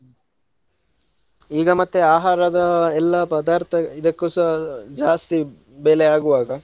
ಈಗ ಮತ್ತೆ ಆಹಾರದ ಎಲ್ಲಾ ಪದಾರ್ಥ ಇದಕ್ಕುಸ ಜಾಸ್ತಿ ಬೆಲೆ ಆಗುವಾಗ.